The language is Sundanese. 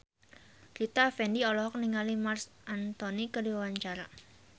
Rita Effendy olohok ningali Marc Anthony keur diwawancara